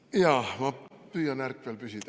Jaa, ma püüan ärkvel püsida.